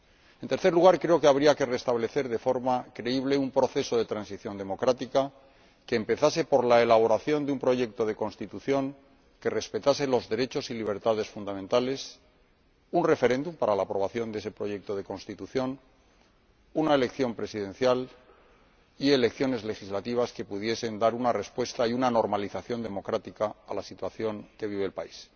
Asimismo, creo que habría que restablecer de forma creíble un proceso de transición democrática que empezase por la elaboración de un proyecto de constitución que respetase los derechos y libertades fundamentales, un referéndum para la aprobación de ese proyecto de constitución, una elección presidencial y elecciones legislativas que pudiesen dar una respuesta y una normalización democrática a la situación que vive el país.